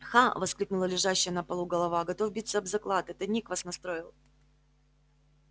ха воскликнула лежащая на полу голова готов биться об заклад это ник вас настроил